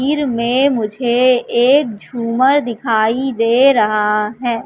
तस्वीर में मुझे एक झूमर दिखाई दे रहा है।